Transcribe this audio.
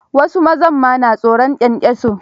Wasu mazan ma ba sa son kyankyaso.